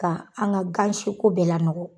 Ka an ka gansiko bɛɛ lanɔgɔ.